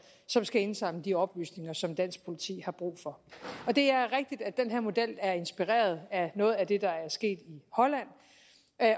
som skal indsamle de oplysninger som dansk politi har brug for det er rigtigt at den her model er inspireret af noget af det der er sket i holland